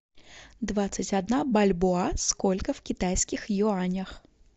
двадцать одна бальбоа сколько в китайских юанях